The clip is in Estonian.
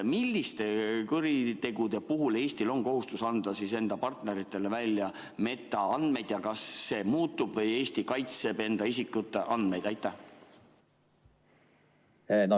Milliste kuritegude puhul Eestil on kohustus anda enda partneritele välja metaandmeid ja kas see muutub või Eesti kaitseb enda isikute andmeid?